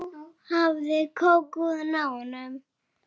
Nú hafði Kókó náð honum.